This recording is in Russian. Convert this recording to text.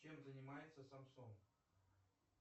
чем занимается самсон